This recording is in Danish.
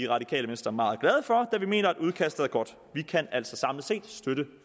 radikale venstre meget glade for da vi mener at udkastet er godt vi kan altså samlet set støtte